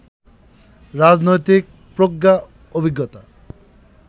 রাজনৈতিক প্রজ্ঞা, অভিজ্ঞতা,